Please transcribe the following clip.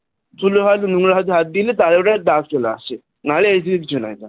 ধুলো হাত বা নোংরা হাতে হাত দিলে তাই ওটা দাগ চলে আসে নাহলে এমনি কিছু নয় ওটা